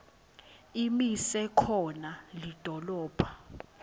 imise khona lidolobha